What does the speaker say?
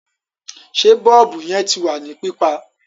Sé bọ́ọ̀bù yẹn ti wà ní pípa?